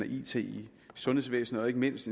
it i sundhedsvæsenet og ikke mindst